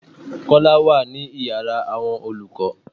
Kọ́lá wá ní ìyára àwọn olùkọ́.